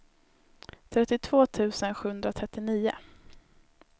trettiotvå tusen sjuhundratrettionio